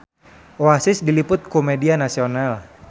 Oasis diliput ku media nasional